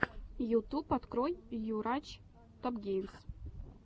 ютуб открой йурач топгеймс